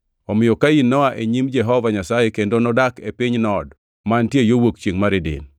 Omiyo Kain noa e nyim Jehova Nyasaye kendo nodak e piny Nod, mantie yo wuok chiengʼ mar Eden.